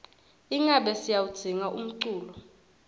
ingabe siyawudzinga umculo